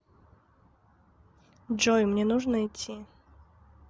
джой мне нужно идти